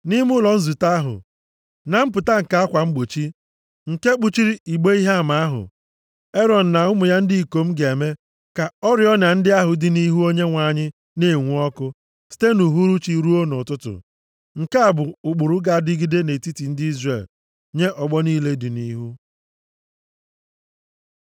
Nʼime ụlọ nzute ahụ, na mpụta nke akwa mgbochi nke kpuchiri igbe Ihe Ama ahụ, Erọn na ụmụ ya ndị ikom ga-eme ka oriọna ndị ahụ dị nʼihu Onyenwe anyị, na-enwu ọkụ, site nʼuhuruchi ruo nʼụtụtụ. Nke a bụ ụkpụrụ ga-adịgide nʼetiti ndị Izrel nye ọgbọ niile dị nʼihu.